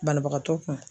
Banabagatɔ kun